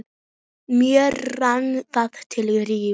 Mér rann það til rifja.